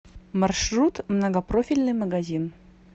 маршрут многопрофильный магазин